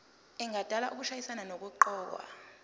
engadala ukushayisana nokuqokwa